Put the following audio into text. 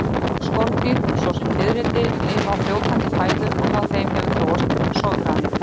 Mörg skordýr svo sem fiðrildi, lifa á fljótandi fæðu og hjá þeim hefur þróast sograni.